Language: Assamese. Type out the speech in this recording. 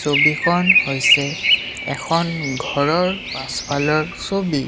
ছবিখন হৈছে এখন ঘৰৰ পাছফালৰ ছবি।